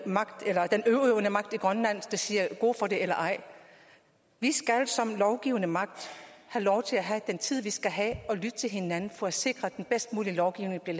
magt i grønland der siger god for det eller ej vi skal som lovgivende magt have lov til at have den tid vi skal have og lytte til hinanden for at sikre at den bedst mulige lovgivning der